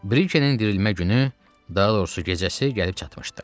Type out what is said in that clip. Brikenin dirilmə günü, daha doğrusu gecəsi gəlib çatmışdı.